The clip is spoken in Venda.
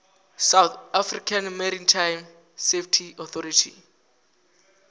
south african maritime safety authority